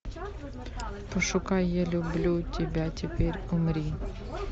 пошукай я люблю тебя теперь умри